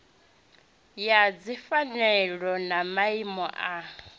ya dzipfanelo na maimo a